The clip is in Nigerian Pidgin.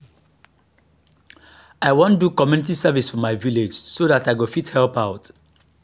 i wan do community service for my village so dat i go fit help out